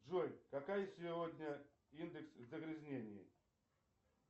джой какая сегодня индекс загрязнения